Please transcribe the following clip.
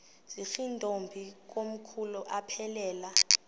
zirntombi komkhulu aphelela